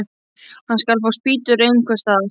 Hann skal fá spýtur einhvers staðar.